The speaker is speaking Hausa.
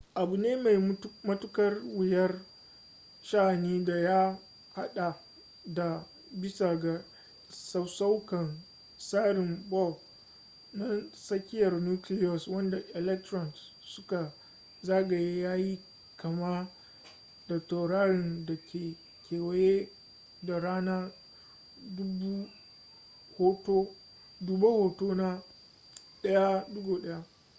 abu ne mai matuƙar wuyar sha'ani da ya haɗa da bisa ga sassauƙan tsarin bohr na tsakiyar nucleus wanda electrons suka zagaye ya yi kama da taurarin da ke kewaye da rana duba hoto na 1.1